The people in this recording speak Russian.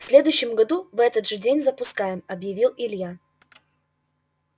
в следующем году в этот же день запускаем объявил илья